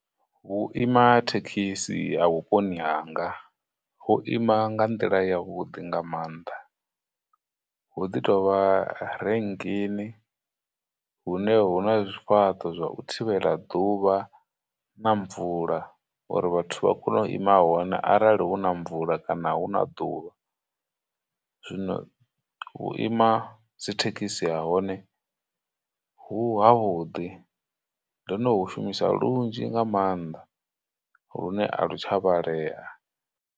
Vhuima thekhisi ha vhuponi hanga hu ima nga nḓila yavhuḓi nga maanḓa, hu ḓi tovha renkeni hune hu na zwifhaṱo zwa u thivhela ḓuvha na mvula uri vhathu vha kone u ima hone arali huna mvula kana hu na ḓuvha. Zwino vhuima dzithekhisi ha hone, hu havhuḓi, ndo no hu shumisa lunzhi nga maanḓa lune a lu tsha vhalea.